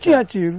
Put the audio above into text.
Tinha tiro.